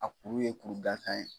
A kuru ye kuru gasan ye.